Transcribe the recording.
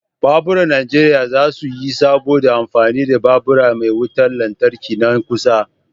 Baburan najeriya za su yi sabo da amfani da babur me wutar lantarki nan kusa.